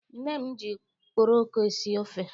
Nne m ji okporoko esi ofe.